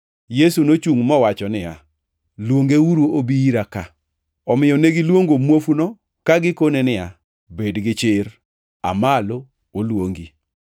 Yesu nochungʼ mowacho niya, “Luongeuru obi ira ka.” Omiyo negiluongo muofuno ka gikone niya, “Bed gichir! Aa malo! Oluongi.”